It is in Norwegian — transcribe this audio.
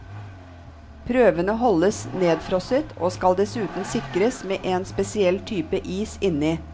Prøvene holdes nedfrosset, og skal dessuten sikres med en spesiell type is inni.